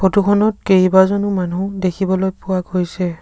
Photo খনত কেইবাজনো মানুহ দেখিবলৈ পোৱা গৈছে।